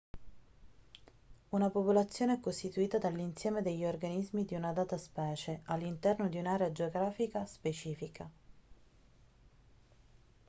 una popolazione è costituita dall'insieme degli organismi di una data specie all'interno di un'area geografica specifica